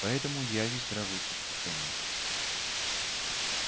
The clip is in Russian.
поэтому я весь дрожу в предвкушении